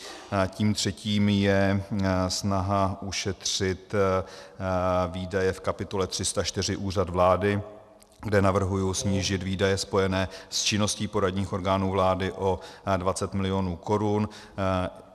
Tím třetím je snaha ušetřit výdaje v kapitole 304 Úřad vlády, kde navrhuji snížit výdaje spojené s činností poradních orgánů vlády o 20 mil. korun.